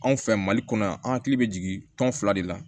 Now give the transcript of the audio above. Anw fɛ mali kɔnɔ yan an hakili bɛ jigi tɔn fila de la